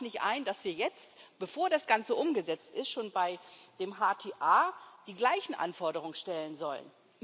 Und da sah ich nicht ein, dass wir jetzt bevor das Ganze umgesetzt ist schon bei der HTA die gleichen Anforderungen stellen sollen.